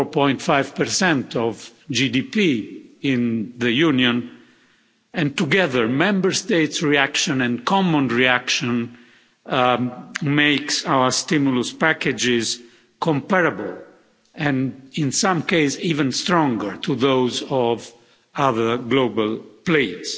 4.5 of GDP in the Union, and together Member States' reaction and common reaction makes our stimulus packages comparable and in some case even stronger to those of other global players.